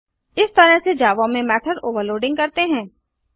इस तरह से जावा में मेथड ओवरलोडिंग करते हैं